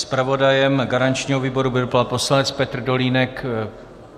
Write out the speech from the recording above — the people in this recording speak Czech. Zpravodajem garančního výboru byl pan poslanec Petr Dolínek.